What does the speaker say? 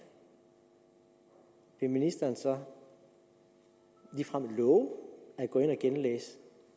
vil ministeren så ligefrem love at gå ind